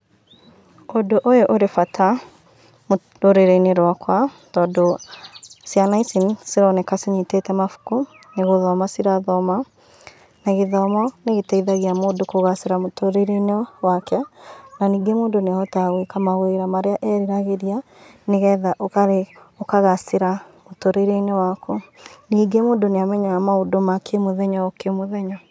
ũndũ ũyũ ũrĩ bata rũrĩrĩ-inĩ rwakwa tondũ ciana ici nĩcironeka cinyitĩte mabuku nĩgũthoma cirathoma na gĩthomo nĩ gĩteithagia mũndũ kũgacĩra mũtũrĩre-inĩ wake na ningĩ mũndũ nĩ ahotaga gwĩka mawĩra marĩa eriragĩria nĩgetha ukagacĩra mũtũrĩre-inĩ waku. Ningĩ mũndũ nĩ amenyaga maũndũ makĩ mũthenya o kĩmũthenya.